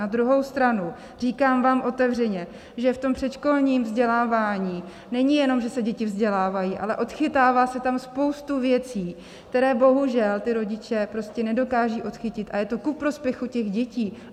Na druhou stranu, říkám vám otevřeně, že v tom předškolním vzdělávání není jenom, že se děti vzdělávají, ale odchytává se tam spoustu věcí, které bohužel ty rodiče prostě nedokážou odchytit, a je to ku prospěchu těch dětí.